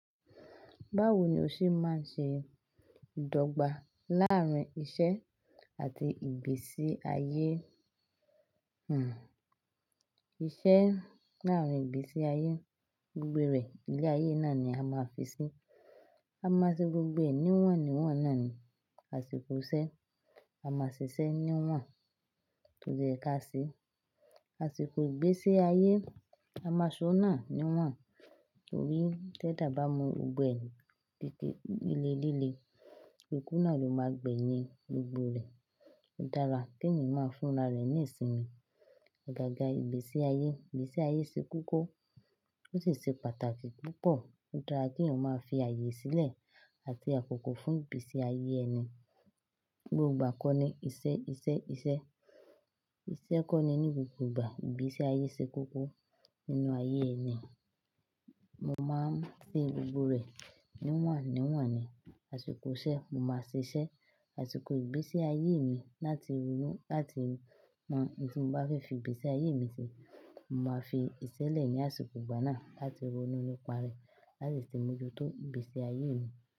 Báwo ni o ṣe máa ń ṣe ìdọ́gba láàárín iṣẹ́ àti ìgbésí ayé? Hmmm. Iṣẹ́ nà án ìgbésí ayé. Gbogbo rẹ̀ ilé-ayé náà ni a máa fi sí. A máa ṣe gbogbo ẹnìrọ̀run níwọ̀n náà ni àsìkò iṣẹ́. A máa ṣiṣẹ́ níwọ̀n tó jẹ́ ká sí. Àsìkò ìgbésí ayé, a máa ṣọ́ náà níwọ̀n torí tẹ́ dà bá mu ọgbẹ́ ẹni gẹ́gẹ́ ilé líle, ikú náà ló máa gbẹ́ yín gbogbo rẹ̀. Ó dára kí èèyàn máa fúnra rẹ̀ ní ìsinmi. Ọ̀gá àga ìgbésí ayé, ìgbésí ayé ṣe kókó ó sì ṣe pàtàkì púpọ̀. Ó dára kí èèyàn máa fi ààyè sílẹ̀ àti àkókò fún ìgbésí ayé ẹni. Gbogbo ìgbà kọ́ ni iṣẹ́, iṣẹ́, iṣẹ́. Iṣẹ́ kọ́ ni ní gbogbo ìgbà. Ìgbésí ayé ṣe kókó nínú ayé ẹni. Mo máa ń ṣe gbogbo rẹ̀ níwọ̀n níwọ̀n ni àsìkò iṣẹ́. Mo máa ṣiṣẹ́ àsìkò ìgbésí ayé mi láti ronú láti mọ ohun tí mo bá fẹ́ fi ìgbésí ayé mi ṣe. Mo máa fi iṣẹ́ lẹ̀ ní àsìkò ìgbà náà láti ronú nípa rẹ̀ láti sì mú ju tó ìgbésí ayé mi.